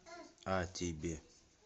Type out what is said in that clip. а тебе